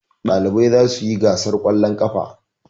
Ɗalibai za su yi gasar ƙwallon ƙafa.